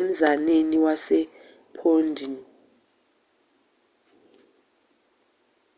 emzaneni wasephondey